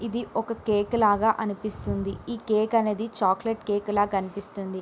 ఇది ఒక కేక్ లాగా అనిపిస్తున్నది ఈ కేక్ అనేది చాక్లెట్ కేక్ లా కనిపిస్తున్నది.